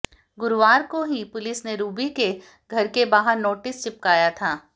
गुरुवार को ही पुलिस ने रुबि के घर के बाहर नोटिस चिपकाया था